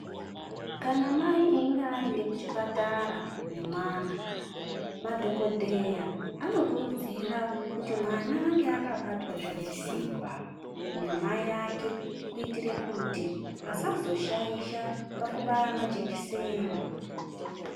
Kana mai einge aende kuchipatara nemwana madhogodheya anokurudzira kuti mwana ange akabatwa zvinesimba namai ake kuitire kuti asazoshaisha pakubaya majekiseni.